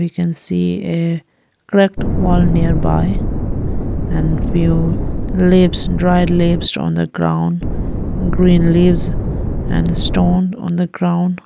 We can see a cracked wall nearby and few leaves dry leaves on the ground green leaves and stone on the ground.